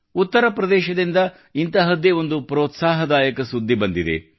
ಉತ್ತರಪ್ರದೇಶದಿಂದ ಇಂತಹದ್ದೇ ಒಂದು ಪ್ರೋತ್ಸಾಹದಾಯಕ ಸುದ್ದಿ ಬಂದಿದೆ